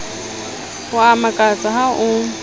o a mmakatsa ha o